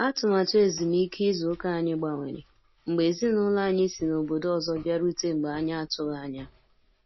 Atụmatụ ezumike ịzụ ụka anyị gbanwere, mgbe ezinaụlọ anyị si n'ọbọdọ ọzọ bịarute mgbe anyị atughi anya.